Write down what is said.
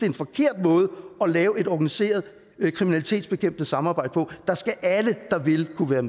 en forkert måde at lave et organiseret kriminalitetsbekæmpende samarbejde på der skal alle der vil kunne være